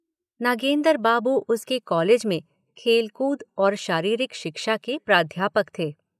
नागेंदर बाबू उसके कॉलेज में खेल कूद और शारीरिक शिक्षा के प्राध्यापक थे।